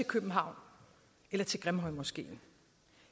københavn eller til grimhøjmoskeen